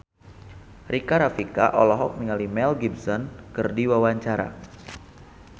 Rika Rafika olohok ningali Mel Gibson keur diwawancara